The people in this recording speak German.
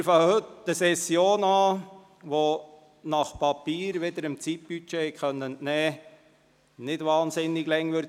Wir beginnen heute eine Session, welche – wie Sie dem Zeitbudget haben entnehmen können – nicht sehr lange dauern wird.